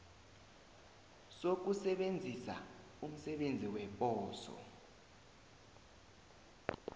sokusebenzisa umsebenzi weposo